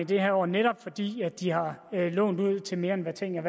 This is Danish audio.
de her år netop fordi de har lånt ud til mere end hvad tingene